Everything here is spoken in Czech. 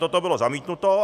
Toto bylo zamítnuto.